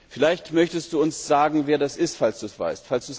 Vielleicht möchtest du uns sagen, wer das ist, falls du es weißt.